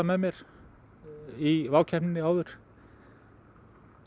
með mér í WOW keppninni áður